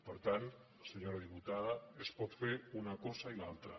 per tant senyora diputada es pot fer una cosa i l’altra